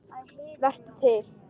Vertu til.